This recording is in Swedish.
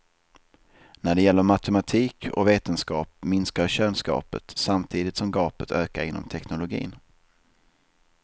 När det gäller matematik och vetenskap minskar könsgapet, samtidigt som gapet ökar inom teknologin.